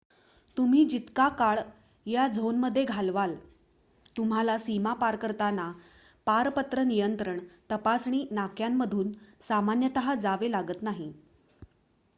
तुम्ही जितका काळ या झोनमध्ये घालवाल तुम्हाला सीमा पार करताना पारपत्र नियंत्रण तपासणी नाक्यांमधून सामान्यत जावे लागत नाही